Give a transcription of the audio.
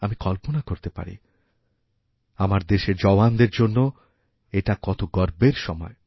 আমি কল্পনাকরতে পারি আমার দেশের জওয়ানদের জন্য এটা কত গর্বের সময়